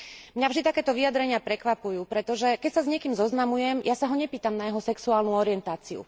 Mňa vždy takéto vyjadrenia prekvapujú, pretože keď sa s niekým zoznamujem, ja sa ho nepýtam na jeho sexuálnu orientáciu.